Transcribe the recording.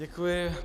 Děkuji.